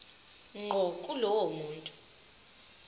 ngqo kulowo muntu